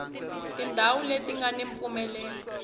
tindhawu leti nga ni mpfumelelo